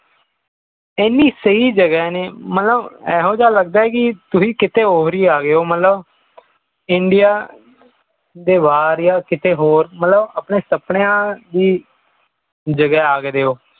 ਇਹਨੀਂ ਸਹੀ ਜਗ੍ਹਾ ਨੇ ਮਤਲਬ ਇਹੋ ਜਾ ਲੱਗਦਾ ਹੈ ਕਿ ਤੁਸੀਂ ਕਿੱਥੇ ਹੋ ਰਿਹਾ ਗਏ ਹੋ ਮਤਲਬ india ਦੇ ਬਾਹਰ ਯਾ ਕਿੱਥੇ ਹੋਰ ਮਤਲਬ ਆਪਣੇ ਸੁਪਨਿਆਂ ਦੀ ਜਗ੍ਹਾ ਆ ਗਏ ਹੋ